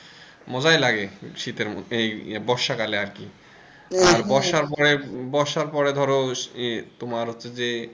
মজাই লাগে শীতের মধ্যে এই বর্ষাকালে আর কি আর বর্ষার পরে বর্ষা পরে এই ধরো তোমার হচ্ছে যে,